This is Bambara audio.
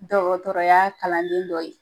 Dɔgɔtɔrɔya kalanden dɔ ye.